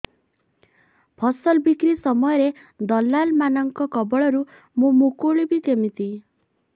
ଫସଲ ବିକ୍ରୀ ସମୟରେ ଦଲାଲ୍ ମାନଙ୍କ କବଳରୁ ମୁଁ ମୁକୁଳିଵି କେମିତି